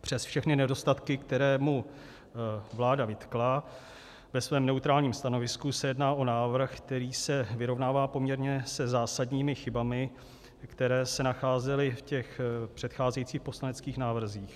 Přes všechny nedostatky, které mu vláda vytkla ve svém neutrálním stanovisku, se jedná o návrh, který se vyrovnává s poměrně zásadními chybami, které se nacházely v těch předcházejících poslaneckých návrzích.